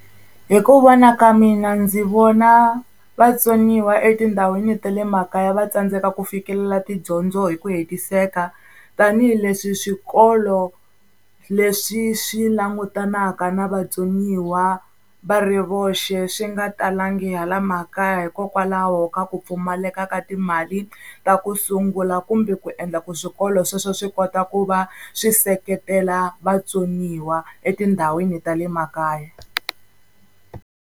Hi ku vona ka mina ndzi vona vatsoniwa etindhawini ta le makaya va tsandzeka ku fikelela tidyondzo hi ku hetiseka. Tanihi leswi swikolo leswi swi langutanaka na vatsoniwa va ri voxe swi nga talangi hala makaya, hikokwalaho ka ku pfumaleka ka timali ta ku sungula kumbe ku endla ku swikolo sweswo swi kota ku va swi seketela vatsoniwa etindhawini ta le makaya.